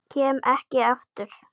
Kem ekki aftur.